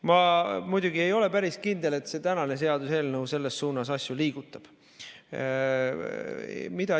Ma muidugi ei ole päris kindel, et see tänane seaduseelnõu asju selles suunas liigutab.